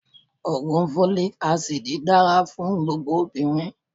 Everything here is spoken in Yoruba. Ògùn Fólíkí asidì dára fún gbogbo obìnrin.